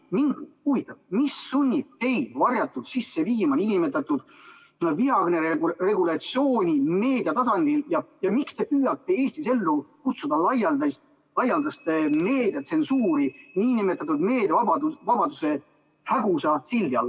Mind huvitab, mis sunnib teid varjatult sisse viima nn vihakõne regulatsiooni meedia tasandil, ja miks te püüate Eestis ellu kutsuda laialdast meediatsensuuri nn meediavabaduse hägusa sildi all.